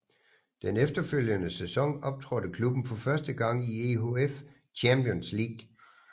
Den efterfølgende sæson optrådte klubben for første gang i EHF Champions League